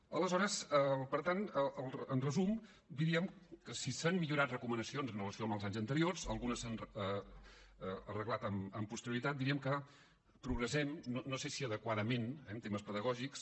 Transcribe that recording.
aleshores per tant en resum diríem que si s’han millorat recomanacions en relació amb els anys anteriors algunes s’han arreglat amb posterioritat diríem que progressem no sé si adequadament en termes pedagògics